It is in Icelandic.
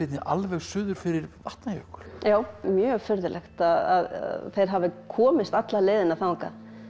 alveg suður fyrir Vatnajökul já mjög furðulegt að þeir hafi komist alla leiðina þangað